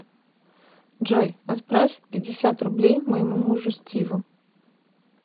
джой отправь пятьдесят рублей моему мужу стиву